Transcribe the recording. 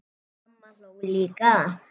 Mamma hló líka.